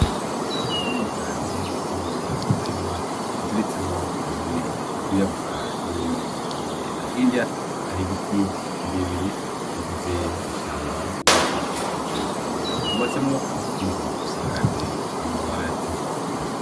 Itongo rinini cane ririmwo umurima uziritsemwo impene, iyirabura n'iyindi yera, hirya hari ibiti birebire bigize ishamba ubona ko rikikuje uyo murima, hubatsemwo inzu isakaje amabati.